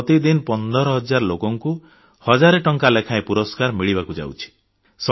ପ୍ରତିଦିନ 15000 ଲୋକଙ୍କୁ ହଜାରେ ଟଙ୍କା ଲେଖାଏଁ ପୁରସ୍କାର ମିଳିବାକୁ ଯାଉଛି